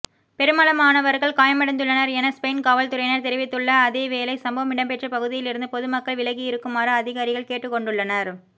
பெருமளவானவர்கள் காயமடைந்துள்ளனர் என ஸ்பெயின் காவல்துறையினர் தெரிவித்துள்ள அதேவேளை சம்பவம் இடம்பெற்ற பகுதியிலிருந்து பொதுமக்களை விலகியிருக்குமாறு அதிகாரிகள் கேட்டுக்கொண்டுள்ளனர்